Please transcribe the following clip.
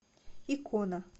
икона